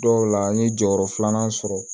Dɔw la n ye jɔyɔrɔ filanan sɔrɔ